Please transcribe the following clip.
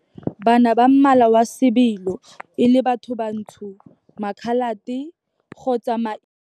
Bana ba mmala wa sebilo, e le bathobantsho, Makhalate kgotsa maIndia.